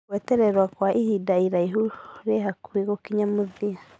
Gũetererwa gwa ihinda rĩrihu rĩ hakuhe gũkinya mũthia